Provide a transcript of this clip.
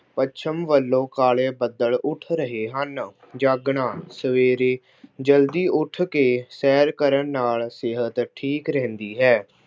ਪੱਛਮ ਵੱਲੋਂ ਕਾਲੇ ਬੱਦਲ ਉੱਠ ਰਹੇ ਹਨ। ਜਾਗਣਾ- ਸਵੇਰੇ ਜਲਦੀ ਉੱਠ ਕੇ ਸੈਰ ਕਰਨ ਨਾਲ ਸਿਹਤ ਠੀਕ ਰਹਿੰਦੀ ਹੈ।